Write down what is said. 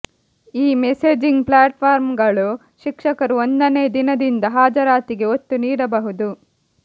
ಈ ಮೆಸೇಜಿಂಗ್ ಪ್ಲ್ಯಾಟ್ಫಾರ್ಮ್ಗಳು ಶಿಕ್ಷಕರು ಒಂದನೇ ದಿನದಿಂದ ಹಾಜರಾತಿಗೆ ಒತ್ತು ನೀಡಬಹುದು